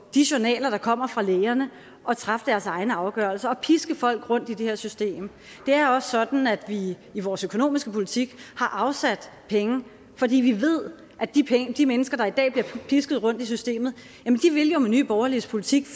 de journaler der kommer fra lægerne og træffe deres egne afgørelser og piske folk rundt i det her system det er også sådan at vi i vores økonomiske politik har afsat penge fordi vi ved at de de mennesker der i dag bliver pisket rundt i systemet med nye borgerliges politik